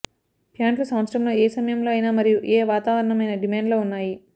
ప్యాంట్లు సంవత్సరంలో ఏ సమయంలో అయినా మరియు ఏ వాతావరణం అయినా డిమాండ్లో ఉన్నాయి